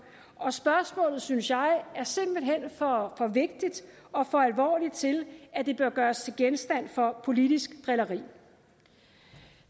og spørgsmålet er synes jeg simpelt hen for vigtigt og for alvorligt til at det bør gøres til genstand for politisk drilleri